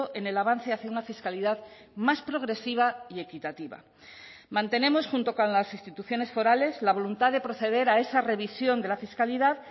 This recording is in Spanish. en el avance hacia una fiscalidad más progresiva y equitativa mantenemos junto con las instituciones forales la voluntad de proceder a esa revisión de la fiscalidad